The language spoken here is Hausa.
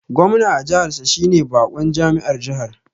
Gwamna a jihar sa shine bakon jami'ar jiha